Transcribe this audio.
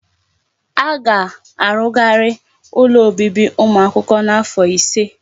Aga arugharị ụlọ obibi ụmụ akwụkwọ n'afọ ise.